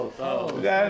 Sağ olun, sağ olun.